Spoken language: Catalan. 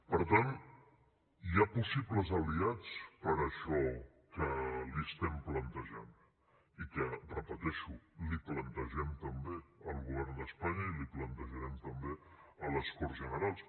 per tant hi ha possibles aliats per a això que li estem plantejant i que ho repeteixo plantegem també al govern d’espanya i plantejarem també a les corts generals